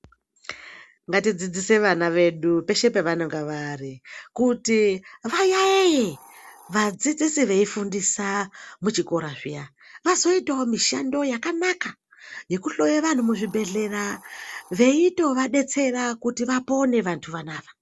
Ngatidzidzshe vana vedu peshe pevanenge vari kuti vayaiye vadzidzisi veifundisa muchikora zviya azoitawo mishando yakanaka yekuhloye vantu muzvibhedhlera veitovadetsera kuti vapone vantu vanava.